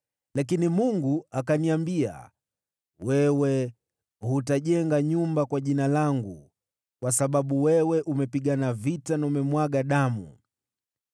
Lakini Mungu akaniambia, ‘Wewe hutajenga nyumba kwa Jina langu, kwa sababu wewe umepigana vita na umemwaga damu.’